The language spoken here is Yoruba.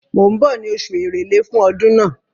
Mò ń bọ̀ ní oṣù Èrèlé fún ọdún náà.